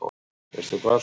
Veistu hvað, Sveinbjörn?